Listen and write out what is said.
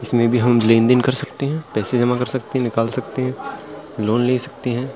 इसमें भी हम लेनदेन कर सकते हैं पैसा जमा कर सकते हैं निकाल सकते हैं लोन ले सकते हैं।